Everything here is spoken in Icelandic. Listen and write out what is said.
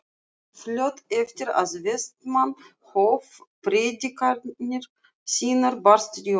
Fljótt eftir að Vestmann hóf predikanir sínar barst Jóni